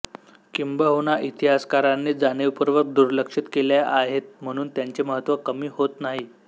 किंबहुना इतिहासकारांनी जाणीवपूर्वक दुर्लक्षित केल्या आहेत म्हणून त्याचे महत्त्व कमी होत नाही